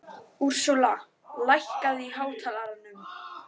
Úrsúla, lækkaðu í hátalaranum.